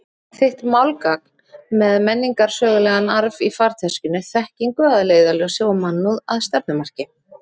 Þitt málgagn með menningarsögulegan arf í farteskinu, þekkingu að leiðarljósi og mannúð að stefnumarki.